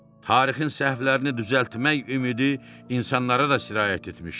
Tarixin səhvlərini düzəltmək ümidi insanlara da sirayət etmişdi.